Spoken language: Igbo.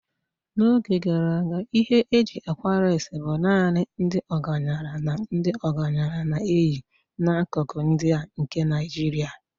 N'oge gara aga ihe eji akwa leesị bụ naanị ndị ọgaranya na ndị ọgaranya na-eyi n'akụkụ ndị a nke Nigeria.